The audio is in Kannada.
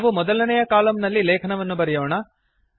ನಾವು ಮೊದಲನೇಯ ಕಲಮ್ ನಲ್ಲಿ ಲೇಖನವನ್ನು ಬರೆಯೋಣ